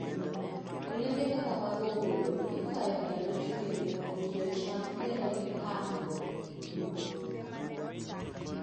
Olembe kaka mag ogolo ikayo e ndalo chwiri mondo ji ocham kendo gipakgo.